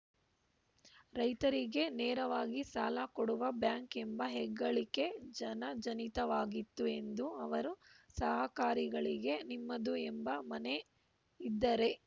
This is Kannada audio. ರೈತರಿಗೆ ನೇರವಾಗಿ ಸಾಲಕೊಡುವ ಬ್ಯಾಂಕ್‌ ಎಂಬ ಹೆಗ್ಗಳಿಕೆ ಜನಜನಿತವಾಗಿತ್ತು ಎಂದು ಅವರು ಸಹಕಾರಿಗಳಿಗೆ ನಿಮ್ಮದು ಎಂಬ ಮನೆ ಇದ್ದರೆ